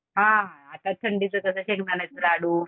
हां आता थंडीचं कसं शेंगदाण्याचं लाडू.